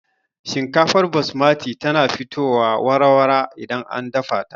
Shinkafar basmati tana fitowa wara-wara idan an dafa ta